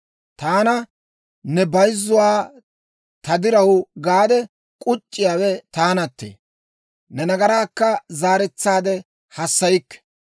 «Taana, ne bayzzuwaa ta diraw gaade k'uc'c'iyaawe taanattee; ne nagaraakka zaaretsaade haassaykke.